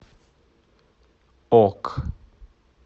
ок